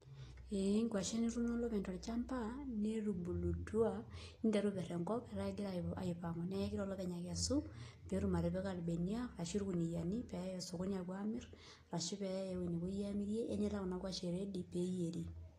ee inkwashen etuuno olopeny tolchamba netubulutua niteru aiper eiper enkop, neeku kegira olopeny aikesu apik ilbeniak pee eya sokoni alo amir ashu eweji akeyie nepuoi amirie neeku etaa kuna kwashen redi pee eyieri.